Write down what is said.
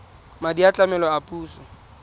madi a tlamelo a puso